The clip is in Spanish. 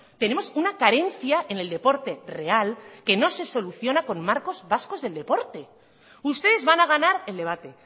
tenemos una carencia en el deporte real que no se soluciona con marcos vascos del deporte ustedes van a ganar el debate